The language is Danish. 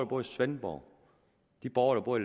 bor i svendborg og de borgere